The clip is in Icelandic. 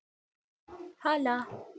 Hala